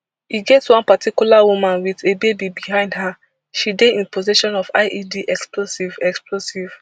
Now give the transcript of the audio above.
e get one particular woman wit a baby behind her she dey in possession of ied explosive explosive